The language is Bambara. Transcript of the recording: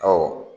Ɔ